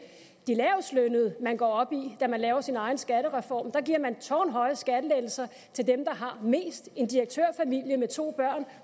de lavestlønnede man går op i når man laver sin egen skattereform giver man tårnhøje skattelettelser til dem der har mest en direktørfamilie med to børn